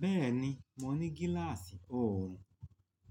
Bẹ́ẹ̀ni, mo ní gíláàsì ọ̀ọ̀rùn,